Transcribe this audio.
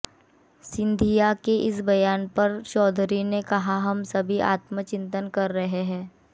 सिंधिया के इस बयान पर चौधरी ने कहा कि हम सभी आत्मचिंतन कर रहे हैं